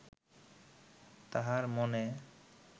তাঁহার মনে